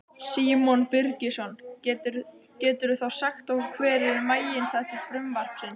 Símon Birgisson: Geturðu þá sagt okkur hver eru meginþættir frumvarpsins?